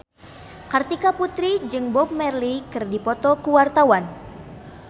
Kartika Putri jeung Bob Marley keur dipoto ku wartawan